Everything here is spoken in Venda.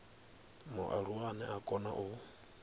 mualuwa ane a kona u